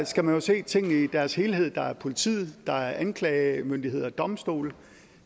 skal man jo se tingene i deres helhed der er politiet der er anklagemyndighed og domstole og